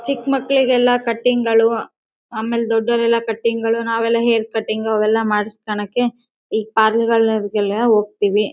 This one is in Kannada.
ಚಿಕ್ಕ್ ಮಕೆಳಿಗೆಲ್ಲ ಕಟಿಂಗ್ ಗಳು ಆಮೇಲೆ ದೊಡ್ಡವರೆಲ್ಲ ಕಟಿಂಗ್ ಗಳು ನಾವೆಲ್ಲ ಕಟಿಂಗ್ ಅವೆಲ್ಲ ಮಾಡಿಸ್ಕೊಳ್ಳಕೆ ಈ ಪ್ಯಾರ್ಲರ್ ಗಳಿಗೆಲ್ಲ ಹೋಗ್ತಿವಿ.